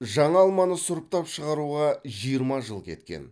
жаңа алманы сұрыптап шығаруға жиырма жыл кеткен